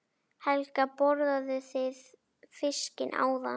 Helga: Borðuðu þið fiskinn áðan?